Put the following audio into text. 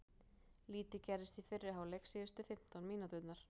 Lítið gerðist í fyrri hálfleik síðustu fimmtán mínúturnar.